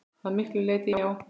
Að miklu leyti já.